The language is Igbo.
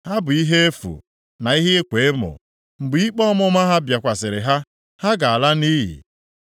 Ha bụ ihe efu, na ihe ịkwa emo, mgbe ikpe ọmụma ha bịakwasịrị ha, ha ga-ala nʼiyi.